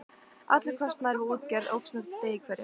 Allur kostnaður við útgerð óx með degi hverjum.